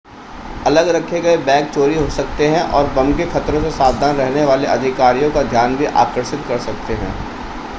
अलग रखे गए बैग चोरी हो सकते हैं और बम के ख़तरों से सावधान रहने वाले अधिकारियों का ध्यान भी आकर्षित कर सकते हैं